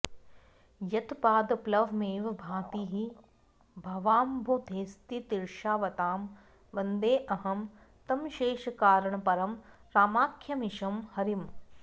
यत्पादप्लवमेव भाति हि भवाम्भोधेस्तितीर्षावतां वन्देऽहं तमशेषकारणपरं रामाख्यमीशं हरिम्